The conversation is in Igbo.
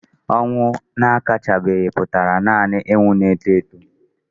Ọnwụ akachabeghị pụtara nanị ịnwụ na-eto eto.